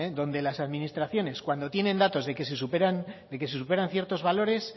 donde las administraciones cuando tienen datos de que se superan ciertos valores